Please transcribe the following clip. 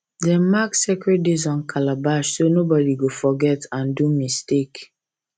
them mark sacred days on calabash so nobody go forget and do mistake